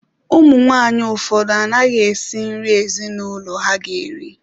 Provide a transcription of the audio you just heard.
Ụmụ nwaanyị ụfọdụ anaghị esị nri ezinụlọ ha ga-eri.